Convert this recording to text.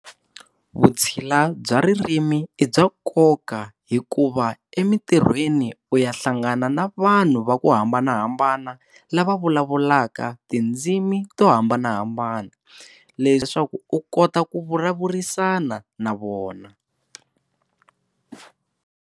Vutshila bya ririmi i bya nkoka hikuva emintirhweni u ya hlangana na vanhu va ku hambanahambana lava vulavulaka tindzimi to hambanahambana leswaku u kota ku vulavurisana na vona.